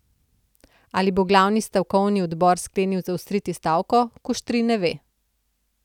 Ali bo glavni stavkovni odbor sklenil zaostriti stavko, Kuštrin ne ve.